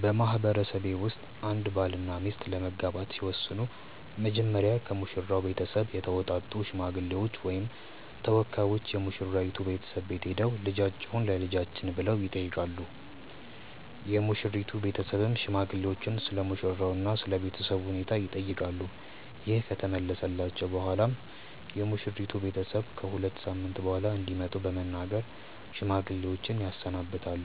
በማህበረሰቤ ውስጥ አንድ ባልና ሚስት ለመጋባት ሲወስኑ መጀመሪያ ከሙሽራው ቤተሰብ የተውጣጡ ሽማግሌዎች ወይም ተወካዮች የሙሽራይቱ ቤተሰብ ቤት ሄደው "ልጃችሁን ለልጃችን" ብለው ይጠይቃሉ። የሙሽሪት ቤተሰብም ሽማግሌዎቹን ስለሙሽራው እና ስለ ቤተሰቡ ሁኔታ ይጠይቃሉ። ይህ ከተመለሰላቸው በኋላም የሙሽሪት ቤተሰብ ከ ሁለት ሳምንት በኋላ እንዲመጡ በመናገር ሽማግሌዎችን ያሰናብታል።